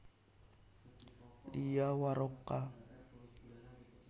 Lia Waroka